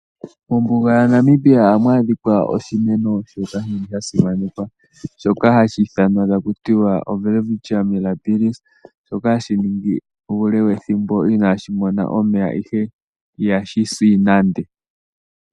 Mombuga yaNamibia ohamu adhikwa oshimeno shoka shili sha simanekwa, shoka hashi ithanwa takutiwa oWelwitchia mirabiris shoka hashi ningi uule wethimbo inaashi mona omeya ihe ihashi si nande.